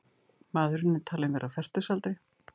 Maðurinn er talinn vera á fertugsaldri